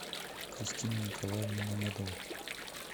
кристину николаевну мамедову